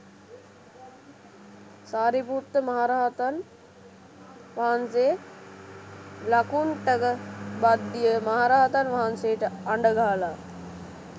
සාරිපුත්ත මහරහතන් වහන්සේ ලකුණ්ඨක භද්දිය මහරහතන් වහන්සේට අඬ ගහලා